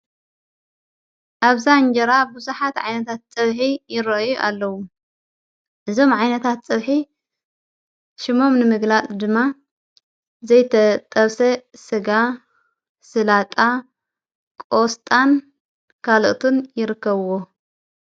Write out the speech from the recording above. ኣብዛ እንጀራ ብዙኃት ዓይነታት ጸብሒ ይረዩ ኣለዉ እዞም ዓይነታት ጸብሒ ሽሞም ንምግላጥ ድማ ዘይተጠብሰ ሥጋ ሥላጣ ቆስጣን ካልኦቱን ይርከብዎ።